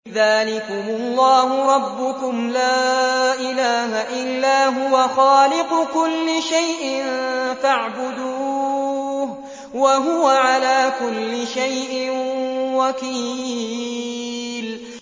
ذَٰلِكُمُ اللَّهُ رَبُّكُمْ ۖ لَا إِلَٰهَ إِلَّا هُوَ ۖ خَالِقُ كُلِّ شَيْءٍ فَاعْبُدُوهُ ۚ وَهُوَ عَلَىٰ كُلِّ شَيْءٍ وَكِيلٌ